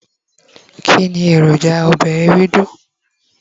kini eroja obe Ewédú